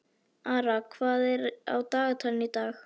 Ara, hvað er á dagatalinu í dag?